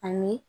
Ani